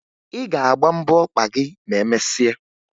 Ị ga-agba mbọ ọkpa gị ma emesịa